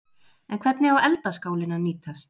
En hvernig á eldaskálinn að nýtast?